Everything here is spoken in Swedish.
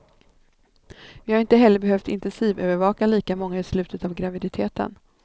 Vi har inte heller behövt intensivövervaka lika många i slutet av graviditeten.